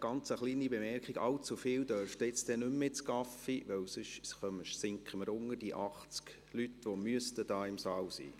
Allzu viele dürfen jetzt nicht mehr ins Café gehen, sonst sinken wir unter die 80 Leute, die hier im Saal sein müssten.